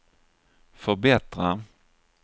förbättra